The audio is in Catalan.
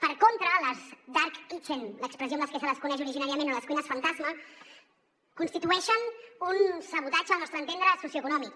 per contra les dark kitchenles que se les coneix originàriament o les cuines fantasma constitueixen un sabotatge al nostre entendre socioeconòmic